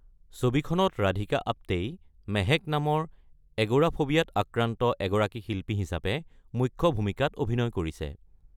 ছবিখনত ৰাধিকা আপ্তেই মেহেক নামৰ এগ'ৰাফোবিয়াত আক্ৰান্ত এগৰাকী শিল্পী হিচাপে মুখ্য ভূমিকাত অভিনয় কৰিছে।